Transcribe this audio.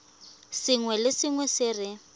sengwe le sengwe se re